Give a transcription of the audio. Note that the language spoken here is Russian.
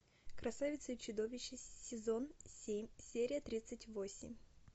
красавица и чудовище сезон семь серия тридцать восемь